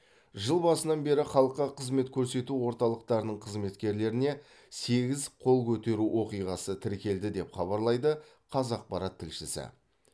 жыл басынан бері халыққа қызмет көрсету орталықтарының қызметкерлеріне сегіз қол көтеру оқиғасы тіркелді деп хабарлайды қазақпарат тілшісі